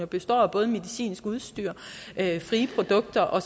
består af både medicinsk udstyr frie produkter og